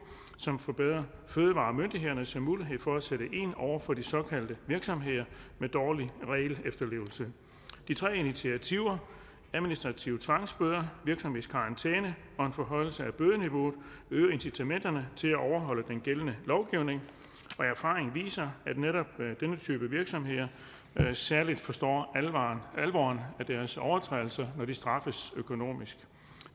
som forbedrer fødevaremyndighedernes muligheder for at sætte ind over for virksomheder med dårlig regelefterlevelse de tre initiativer administrative tvangsbøder virksomhedskarantæne og en forhøjelse af bødeniveauet vil øge incitamenterne til at overholde den gældende lovgivning erfaringerne viser at netop denne type virksomheder i særlig grad forstår alvoren af deres overtrædelser når de straffes økonomisk